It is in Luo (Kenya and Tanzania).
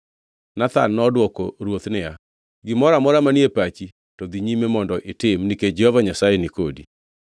Nathan nodwoko ruoth niya, “Gimoro amora manie pachi, to dhi nyime mondo itim, nikech Jehova Nyasaye ni kodi.”